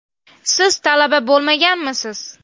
Siz talaba bo‘lmaganmisiz?